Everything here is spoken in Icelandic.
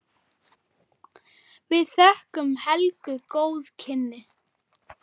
Við þökkum Helgu góð kynni.